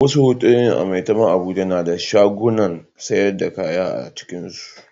Wasu otal a Maitama Abuja na da shagunan sayar da kaya a cikinsu.